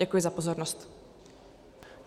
Děkuji za pozornost.